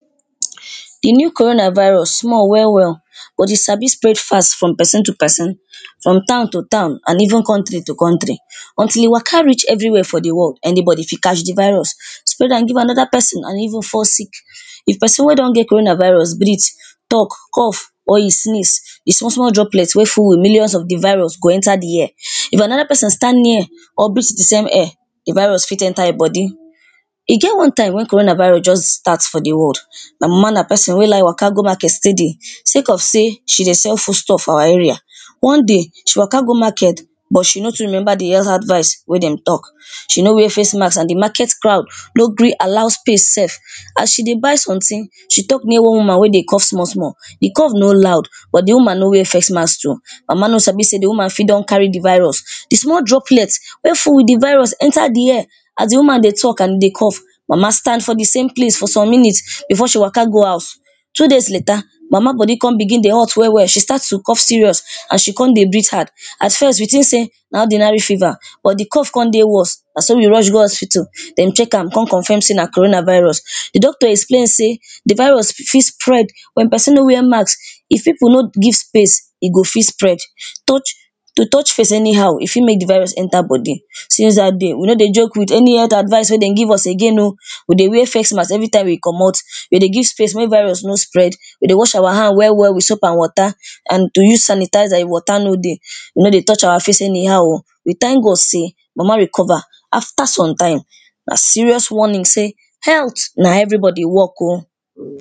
The new corona virus small well well, but e sabi spread fast from person to person from town to town and even country to country. Until e waka reach everywhere for the world anybody fit catch the virus, spread am give another person and even fall sick. If person wey don get corona virus breathe, talk cough, or you sneeze, the small small droplets wey full with millions of the virus go enter the air. If another person stand near, or breath the same air, the virus fit enter e body. E get one time wey corona virus just start for the world, my mama na person wey like waka go market steady, sake of sey, she dey sell foodstuff for our area. One day, she waka go market, but she no too remember the health advice wey dem talk. She no wear face mask, and the market crowd no gree allow space sef. As she dey buy something,, she talk near one woman wey dey cough small small. The cough no loud but the woman no wear face mask too. My mama no sabi sey the woman fit don carry the virus. The small droplets wey full with the virus enter the air as the woman dey talk and e dey cough. Mama stand for the same place for some minutes, before she waka go house. Two days latter, mama body con begin dey hot well well. She start to cough serious serious and she con dey breathe hard. At first we think sey na ordinary fever, but the cough con dey worse. Na so we rush go hospital, dem check am con confirm sey na corona virus. The doctor explain sey, the virus fit spread when person no wear mask if people no give space, e go fit spread. touch To touch face anyhow, e fit make the virus enter body. Since that day we, no dey joke with any health advice wey dem give us again oh. We dey wear face mask every time we comot. We dey give o space make virus no spread, we dey wash our hand well well with soap and water and to use sanitizer if water no dey. We not dey touch our face anyhow oh. we thank God sey, mama recover after some time, Na serious warning sey health na everybody work oh.